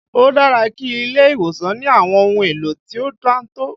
Ó dára kí ilé ìwòsàn ní àwọn ohun èlò tí ó dáńtọ́